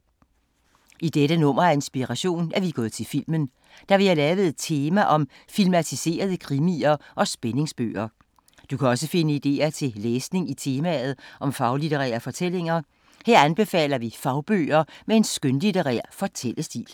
I dette nummer af Inspiration er vi gået til filmen, da vi har lavet et tema om filmatiserede krimier og spændingsbøger. Du kan også finde idéer til læsning i temaet om faglitterære fortællinger. Her anbefaler vi fagbøger med en skønlitterær fortællestil.